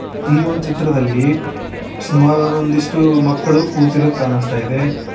ಈ ಒಂದ್ ಚಿತ್ರದಲ್ಲಿ ಸುಮಾರು ಒಂದಿಷ್ಟು ಮಕ್ಕಳು ಕೂತಿರೋದು ಕಾಣುಸ್ತಾ ಇದೆ.